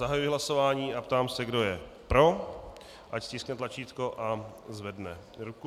Zahajuji hlasování a ptám se, kdo je pro, ať stiskne tlačítko a zvedne ruku.